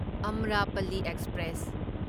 Amrapali express